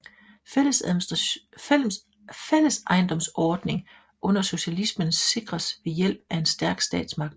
Fællesejendomsordning under socialismen sikres ved hjælp af en stærk statsmagt